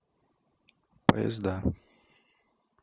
поезда